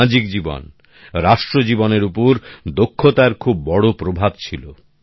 সামাজিক জীবন রাষ্ট্র জীবনের ওপর দক্ষতার খুব বড় প্রভাব ছিল